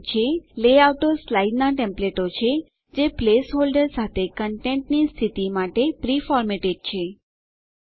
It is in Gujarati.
લેઆઉટો સ્લાઇડનાં ટેમ્પલેટો છે જે પ્લેસ હોલ્ડરો સાથે કંટેટની સ્થિતિ માટે પ્રી ફોર્મેટેડ પહેલાથી ફોર્મેટ થયેલ છે